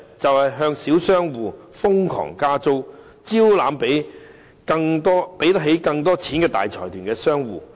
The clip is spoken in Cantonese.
便是向小商戶瘋狂加租，招攬更多付得起錢的大財團商戶。